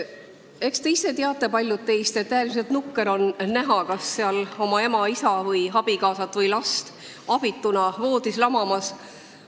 Eks paljud meist teavad ka ise hästi, et äärmiselt nukker on näha oma ema, isa, abikaasat või last abituna voodis lamamas.